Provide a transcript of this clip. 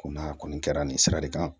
Ko n'a kɔni kɛra nin sira de kan